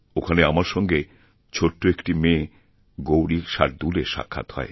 ওখানে আমার সঙ্গে ছোট্ট একটি মেয়ে গৌরীশার্দুলএর সাক্ষাৎ হয়